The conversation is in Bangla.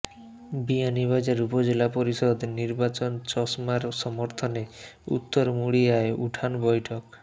বিয়ানীবাজার উপজেলা পরিষদ নির্বাচন চশমার সমর্থনে উত্তর মুড়িয়ায় উঠান বৈঠক